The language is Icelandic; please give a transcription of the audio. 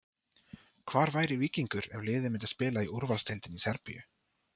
Hvar væri Víkingur ef liðið myndi spila í úrvalsdeildinni í Serbíu?